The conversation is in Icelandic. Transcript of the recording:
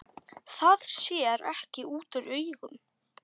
Það sér ekki útúr augum.